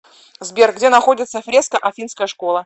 сбер где находится фреска афинская школа